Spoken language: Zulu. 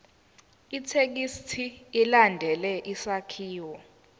ithekisthi ilandele isakhiwo